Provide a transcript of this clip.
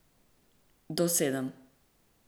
Do sedem.